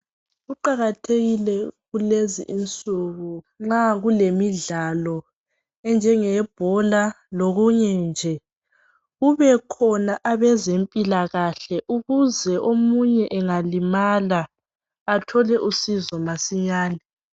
Kuqakathekile kulezi insuku nxa kulemidlalo enjenge yebhola lokunye nje. Kubekhona abezempilakahle ukuze omunye engalimala athole usizo masinyane .